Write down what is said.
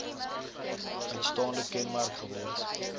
uitstaande kenmerk geword